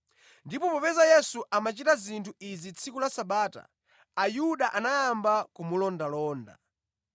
Ndipo popeza Yesu amachita zinthu izi tsiku la Sabata, Ayuda anayamba kumulondalonda.